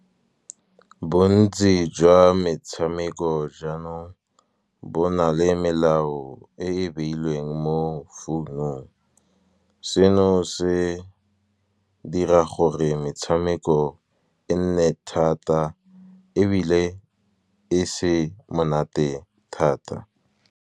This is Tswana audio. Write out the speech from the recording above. Bontsi jwa metshameko jaanong bo na le melao, e e beilweng mo founung. Seno se dira gore metshameko e nne thata ebile e se monate thata.